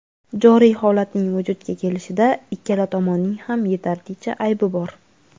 joriy holatning vujudga kelishida ikkala tomonning ham yetarlicha aybi bor.